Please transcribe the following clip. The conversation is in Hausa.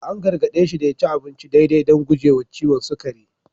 An gargade shi da ya ci abinci daidai don gujewa ciwon sukari